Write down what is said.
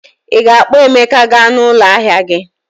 Ị ga-akpọ Emeka gaa n'ụlọ ahịa gị